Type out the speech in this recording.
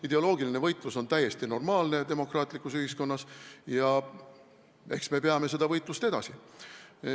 Ideoloogiline võitlus on demokraatlikus ühiskonnas täiesti normaalne ja eks me peame seda võitlust edasi.